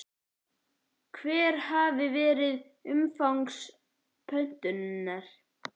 Hvert hafi verið umfang pöntunar?